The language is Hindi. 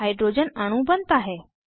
हाइड्रोजन अणु बनता है